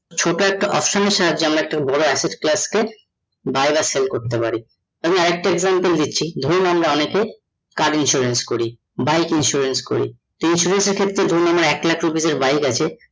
ছোট একটা option এর সাহায্যে আমরা একটা বড় buy বা sell করতে পারি আমি আর একটা example দিচ্ছি ধরুন আমরা অনেকে car insurance করি, bike insurance করি, তো insurance এর ক্ষেত্রে ধরুন আমার এক লক্ষ rupees এর bike আছে